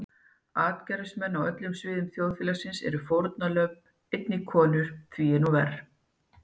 Atgervismenn á öllum sviðum þjóðfélagsins eru fórnarlömb, einnig konur því er nú verr.